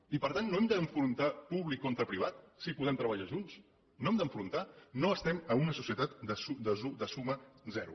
i per tant no hem d’enfrontar públic contra privat si podem treballar junts no els hem d’enfrontar no estem en una societat de suma zero